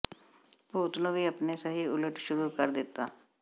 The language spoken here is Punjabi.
ਭੂਤ ਨੂੰ ਵੀ ਆਪਣੇ ਸਹੀ ਉਲਟ ਸ਼ੁਰੂ ਕਰ ਦਿੱਤਾ